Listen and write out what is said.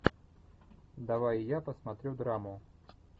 давай я посмотрю драму